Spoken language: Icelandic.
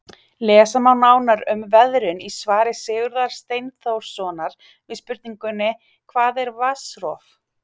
Lesa má nánar um veðrun í svari Sigurðar Steinþórssonar við spurningunni Hvað er vatnsrof?